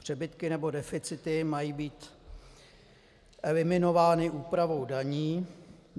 Přebytky nebo deficity mají být eliminovány úpravou daní.